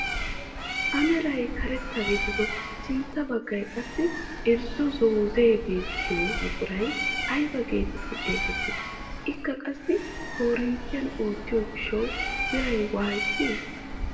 A meray karetta gidido sintta baggaay qassi irzzo zoozee beettiyoo buquray ayba getetti xeegettii? ikka qassi korinttiyaan oottiyaa giishshawu biiray woysee?